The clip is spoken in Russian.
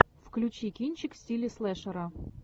включи кинчик в стиле слэшера